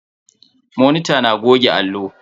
Monita na goge allo.